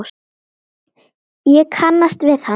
Ég kannast við hann.